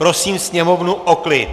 Prosím sněmovnu o klid.